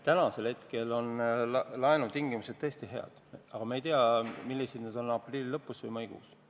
Täna on meil laenutingimused tõesti head, aga me ei tea, millised need on aprilli lõpus või maikuus.